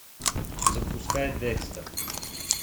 запускай декстер